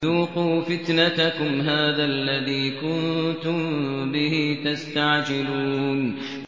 ذُوقُوا فِتْنَتَكُمْ هَٰذَا الَّذِي كُنتُم بِهِ تَسْتَعْجِلُونَ